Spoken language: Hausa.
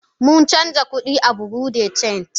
Mun canja kudi a bureau de change.